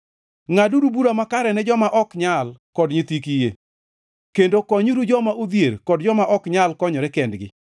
Ngʼaduru bura makare ne joma ok nyal kod nyithi kiye, kendo konyuru joma odhier kod joma ok nyal konyore kendgi.